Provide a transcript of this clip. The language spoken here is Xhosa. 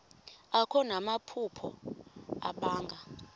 akho namaphupha abanga